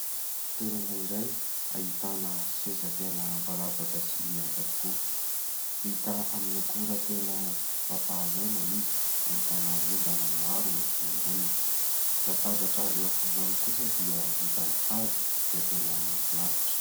Toerana iray ahitana seza tena mivalampatra sy mihaja tokoa. Vita amin'ny akora tena mampahazo aina izy, ahitana ondana maro eny amboniny. Ny latabatra eo afovoany kosa dia vita amin'ny hazo izay tena mahafinaritra.